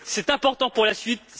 C'est important pour la suite.